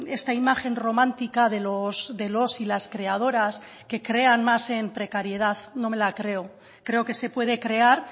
esta imagen romántica de los y las creadoras que crean más en precariedad no me la creo creo que se puede crear